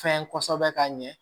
Fɛn kosɛbɛ ka ɲɛ